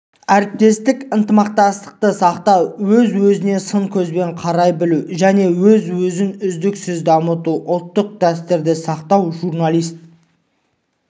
әріптестік ынтымақтастықты сақтау өз-өзіне сын көзбен қарай білу және өзін-өзі үздіксіз дамыту ұлттық дәстүрді сақтау журналист